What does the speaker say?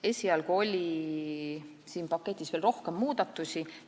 Esialgu oli siin paketis veel rohkem muudatusi.